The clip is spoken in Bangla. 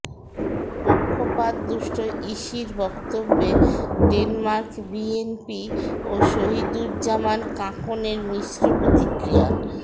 পক্ষপাতদুষ্ট ইসির বক্তব্যে ডেনমার্ক বিএনপি ও শহীদুজ্জামান কাঁকনের মিশ্র প্রতিক্রিয়া